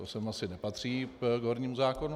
To sem asi nepatří k hornímu zákonu.